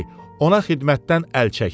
ona xidmətdən əl çəksin.